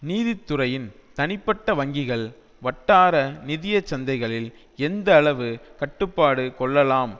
நீதி துறையின் தனிப்பட்ட வங்கிகள் வட்டார நிதிய சந்தைகளில் எந்த அளவு கட்டுப்பாடு கொள்ளலாம்